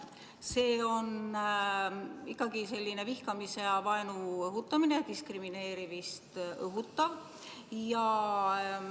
See on ikkagi vihkamise ja vaenu õhutamine ning diskrimineerimist õhutav.